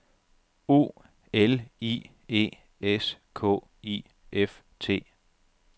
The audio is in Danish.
O L I E S K I F T